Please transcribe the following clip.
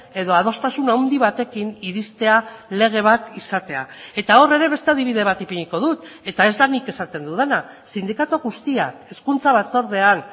edo adostasun handi batekin iristea lege bat izatea eta hor ere beste adibide bat ipiniko dut eta ez da nik esaten dudana sindikatu guztiak hezkuntza batzordean